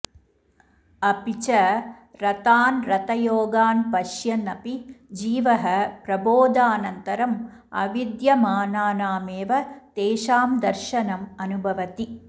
अपि च रथान् रथयोगान् पश्यन् अपि जीवः प्रबोधानन्तरं अविद्यमानानामेव तेषां दर्शनं अनुभवति